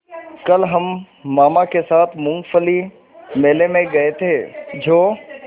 कल हम मामा के साथ मूँगफली मेले में गए थे जो